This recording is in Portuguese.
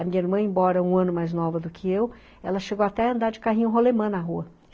A minha irmã, embora um ano mais nova do que eu, ela chegou até a andar de carrinho rolemã na rua.